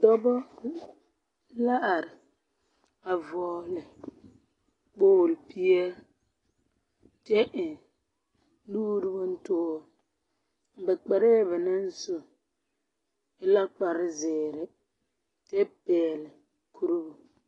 Dͻbͻ la are, a vͻgele kpooli peԑle. Kyԑ eŋ nuuri bomtoore. Ba kparԑԑ ba naŋ su e la kpare-zeere kyԑ pԑgele kuribu.